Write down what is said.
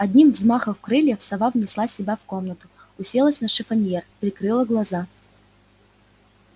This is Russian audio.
одним взмахов крыльев сова внесла себя в комнату уселась на шифоньер прикрыла глаза